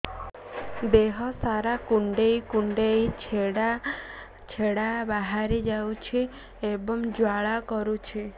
ଦେହ ସାରା କୁଣ୍ଡେଇ କୁଣ୍ଡେଇ ଛେଡ଼ା ଛେଡ଼ା ବାହାରି ଯାଉଛି ଏବଂ ଜ୍ୱାଳା କରୁଛି